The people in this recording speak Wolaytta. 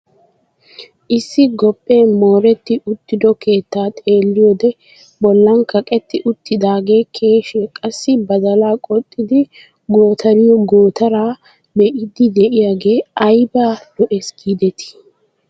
Issi gophphee mooretti uttido keettaa xeelliyoode bollan kaqetti uttidagee keeshiyaa, qassi badalaa qoxxidi gootariyoo gootaraa be'iidi de'iyoogee ayba lo"ees gidetii!